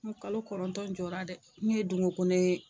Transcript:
N kalo kɔrɔtɔn jɔra dɛ n ye ye